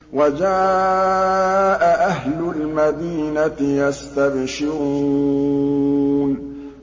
وَجَاءَ أَهْلُ الْمَدِينَةِ يَسْتَبْشِرُونَ